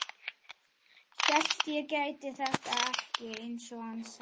Hélt ég gæti þetta ekki, einsog hann sagði.